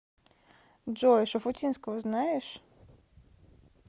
джой шуфутинского знаешь